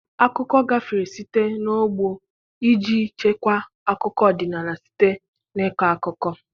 Akụkọ gafere site n'ọgbọ iji chekwaa akụkọ ọdịnala, site na ịkọ akụkọ.